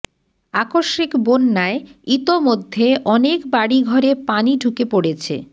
আকস্মিক বন্যায় ইতোমধ্যে অনেক বাড়িঘরে পানি ঢুকে পড়েছে